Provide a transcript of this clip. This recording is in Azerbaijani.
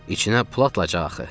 İçinə pul atacağıq axı.